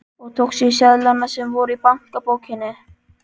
Og tókstu seðlana sem voru í bankabókinni?